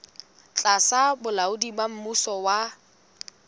tlasa bolaodi ba mmuso wa